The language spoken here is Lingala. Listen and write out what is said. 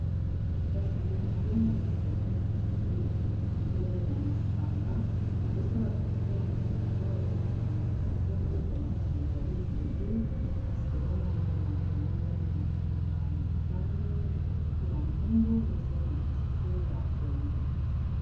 kasi boyi nazomona ezali neti publisite ya masanga bazosala piblisite ya masanga eza masanga ekeseni bamasanga ezali ebele kasi tozomona milangi yango eza milangi ya motane mosusu pe ya mwendu boyesali mosusu pe ya pondu